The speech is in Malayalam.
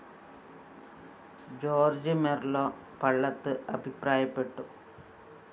ജോര്‍ജ്ജ്‌ മെര്‍ളോ പള്ളത്ത്‌ അഭിപ്രായപ്പെട്ടു